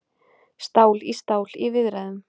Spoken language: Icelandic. Stál í stál í viðræðum